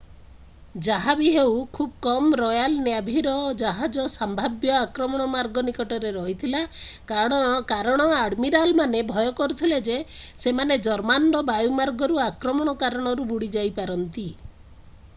ଯାହାବି ହେଉ ଖୁବ୍ କମ୍ ରୟାଲ୍ ନ୍ୟାଭିର ଜାହାଜ ସମ୍ଭାବ୍ୟ ଆକ୍ରମଣ ମାର୍ଗ ନିକଟରେ ରହିଥିଲା କାରଣ ଆଡମିରାଲମାନେ ଭୟ କରୁଥିଲେ ଯେ ସେମାନେ ଜର୍ମାନର ବାୟୁମାର୍ଗରୁ ଆକ୍ରମଣ କାରଣରୁ ବୁଡ଼ିଯାଇପାରନ୍ତି।